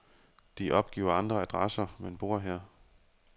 De opgiver andre adresser, men bor her.